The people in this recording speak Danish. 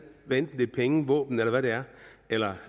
hvad enten det penge våben eller hvad det er eller